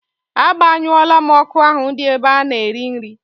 A gbanyụo la m ọkụ ahụ di n'ebe a na-erị nrị